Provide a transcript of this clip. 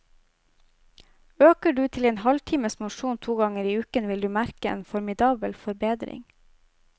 Øker du til en halvtimes mosjon to ganger i uken, vil du merke en formidabel forbedring.